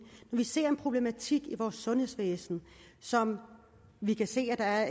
når vi ser en problematik i vores sundhedsvæsen som vi kan se at